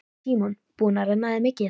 Símon: Búin að renna þér mikið?